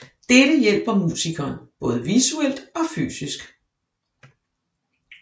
Dette hjælper musikeren både visuelt og fysisk